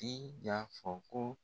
I y'a fɔ ko